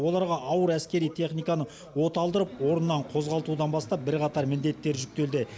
оларға ауыр әскери техниканы оталдырып орнынан қозғалтудан бастап бірқатар міндеттер жүктелді